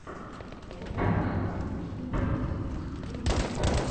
коп в восточной пруссии ютюб